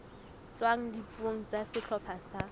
tswang dipuong tsa sehlopha sa